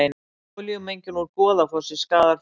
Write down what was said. Olíumengun úr Goðafossi skaðar fuglalíf